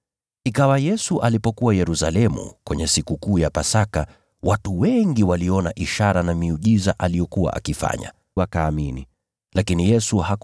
Ikawa Yesu alipokuwa Yerusalemu kwenye Sikukuu ya Pasaka, watu wengi waliona ishara na miujiza aliyokuwa akifanya, wakaamini katika jina lake.